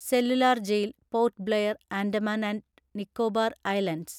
cellular jail (port Blair, Andaman and Nicobar islands)